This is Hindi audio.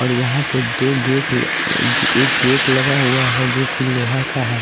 और यहाँ पे दो गेट एक गेट लगा हुआ है जो कि लोहा का है।